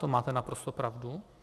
To máte naprosto pravdu.